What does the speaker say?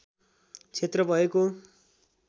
क्षेत्र भएको